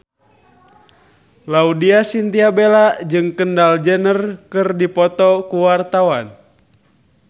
Laudya Chintya Bella jeung Kendall Jenner keur dipoto ku wartawan